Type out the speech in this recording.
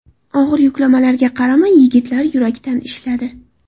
Og‘ir yuklamalarga qaramay, yigitlar yurakdan ishladi.